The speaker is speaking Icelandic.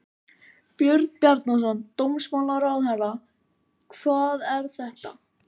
Björn Bjarnason, dómsmálaráðherra: Hvað er þetta?